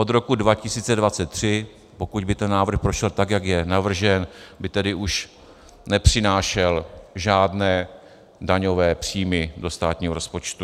Od roku 2023, pokud by ten návrh prošel tak, jak je navržen, by tedy už nepřinášel žádné daňové příjmy do státního rozpočtu.